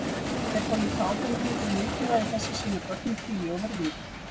Þeir fá líka ábendingu um mikilvægi þess að sýna börnum hlýju og virðingu.